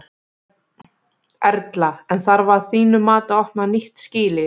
Erla: En þarf að þínu mati að opna nýtt skýli?